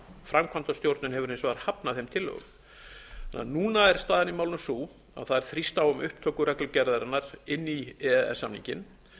framkvæmdastjórnin hefur hins vegar hafnað þeim tillögum núna er staðan í málinu sú að það er þrýst á um upptöku reglugerðarinnar inn í e e s samninginn